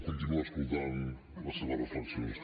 continuar escoltant les seves reflexions